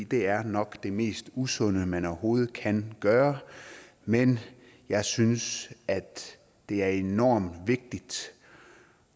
det er nok det mest usunde man overhovedet kan gøre men jeg synes at det er enormt vigtigt